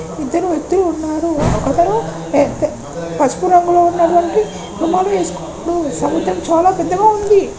ఇద్దరు వ్యక్తులు ఉన్నారు. ఒకతను పసుపు రంగులో ఉన్నటు వంటి రుమాలు వేసుకుని ఉన్నాడు. సముద్రం చాలా పెద్దగా ఉంది.